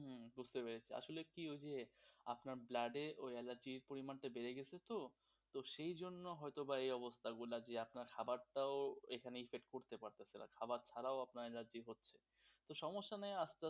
বুঝতে পেরেছি আসলে কি হইছে যে আপনার blood এ ওই অ্যালার্জির পরিমাণটা বেড়ে গেছে তো সেই জন্য হয়ত এই অবস্থাগুলো যে আপনার খাবার টা ও এখানেই করতে পারতেছেনা খাবার ছাড়াও আপনার অ্যালার্জি হচ্ছে তো সমস্যা নাই আর,